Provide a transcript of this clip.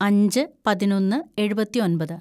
അഞ്ച് പതിനൊന്ന് എഴുപത്തിയൊമ്പത്‌